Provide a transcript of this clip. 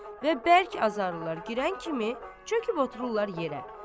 Və bərk azarlılar girən kimi çöküb otururlar yerə.